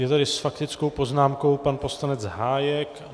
Je tady s faktickou poznámkou pan poslanec Hájek.